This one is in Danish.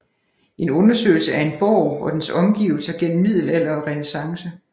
En undersøgelse af en borg og dens omgivelser gennem middelalder og renæssance